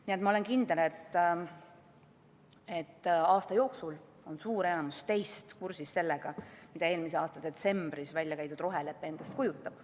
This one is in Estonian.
Nii et ma olen kindel, et enamik teist on kursis sellega, mida eelmise aasta detsembris välja käidud rohelepe endast kujutab.